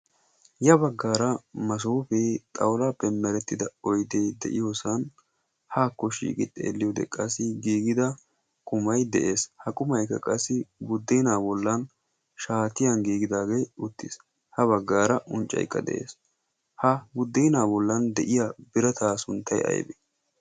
ya baggaara masoopee xawulaappe merettida oyddee de'iyoosan haakko shiigi xeelliyo deqqassi giigida kumai de'ees ha qumaykka qassi guddeenaa bollan shaatiyan giigidaagee uttiis. ha baggaara unccayqqa de'ees. ha guddeenaa bollan de'iya birataa sunttay aybee?